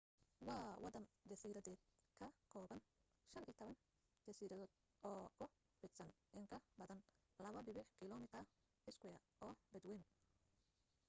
waa waddan jasiiradeed ka kooban 15 jasiiradood oo ku fidsan in ka badan 2.2 km2 oo badwayna